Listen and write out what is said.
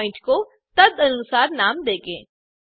हम प्वॉइंट को तदनुसार नाम देंगे